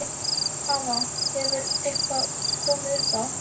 Hafa, hefur eitthvað komið upp á?